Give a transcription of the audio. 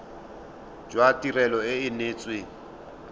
jwa tirelo e e neetsweng